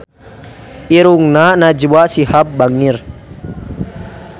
Irungna Najwa Shihab bangir